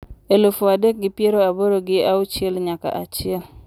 Eluf adek gi piero aboro gi auchiel nyaka achiel